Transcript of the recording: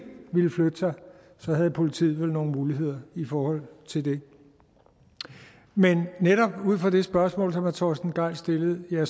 ville flytte sig havde politiet vel nogle muligheder i forhold til det men netop ud fra det spørgsmål som hr torsten gejl stillede bliver